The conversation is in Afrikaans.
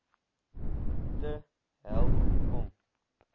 te help om